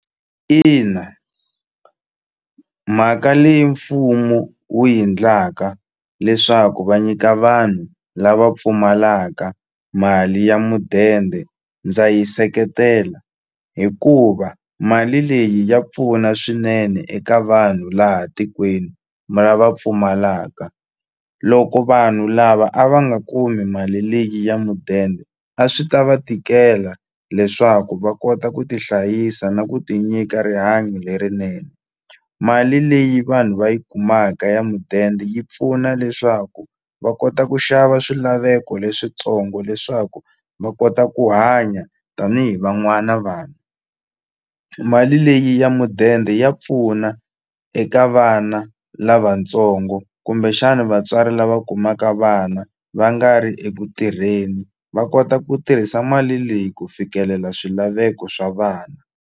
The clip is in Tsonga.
Ina mhaka leyi mfumo wu yi endlaka leswaku va nyika vanhu lava pfumalaka mali ya mudende ndza yi seketela hikuva mali leyi ya pfuna swinene eka vanhu laha tikweni va pfumalaka loko vanhu lava a va nga kumi mali leyi ya mudende a swi ta va tikela leswaku va kota ku ti hlayisa na ku tinyika rihanyo lerinene mali leyi vanhu va yi kumaka ya mudende yi pfuna leswaku va kota ku xava swilaveko leswitsongo leswaku va kota ku hanya tanihi van'wana vanhu mali leyi ya mudende ya pfuna eka vana lavatsongo kumbexani vatswari lava kumaka vana va nga ri eku tirheni va kota ku tirhisa mali leyi ku fikelela swilaveko swa vana.